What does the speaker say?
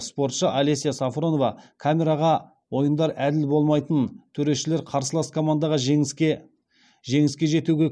спортшы алеся сафронова камераға ойындар әділ болмайтынын төрешілер қарсылас командаға жеңіске жетуге